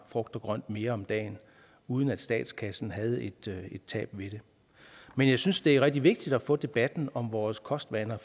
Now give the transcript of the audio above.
frugt og grønt mere om dagen uden at statskassen havde et tab ved det men jeg synes det er rigtig vigtigt at få debatten om vores kostvaner